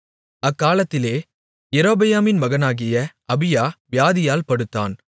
அக்காலத்திலே யெரொபெயாமின் மகனாகிய அபியா வியாதியில் படுத்தான்